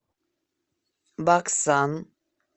баксан